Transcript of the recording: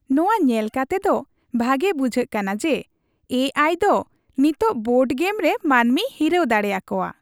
ᱱᱚᱣᱟ ᱧᱮᱞ ᱠᱟᱛᱮᱫ ᱵᱷᱟᱜᱮ ᱵᱩᱡᱚᱜ ᱠᱟᱱᱟ ᱡᱮ ᱮᱹ ᱟᱭ ᱫᱚ ᱱᱤᱛᱚᱜ ᱵᱳᱨᱰ ᱜᱮᱢ ᱨᱮ ᱢᱟᱹᱱᱢᱤᱭ ᱦᱤᱨᱟᱹᱣ ᱫᱟᱲᱮᱭᱟᱠᱚᱼᱟ ᱾